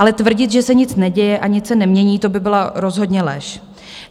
Ale tvrdit, že se nic neděje a nic se nemění, to by byla rozhodně lež.